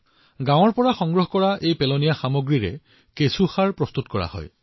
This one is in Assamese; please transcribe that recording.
গাওঁখনৰ পৰা সংগ্ৰহ কৰা আৱৰ্জনাবোৰ নিষ্কাশন কৰিবলৈ ভাৰ্মি কম্পোষ্টো প্ৰস্তুত কৰা হৈছে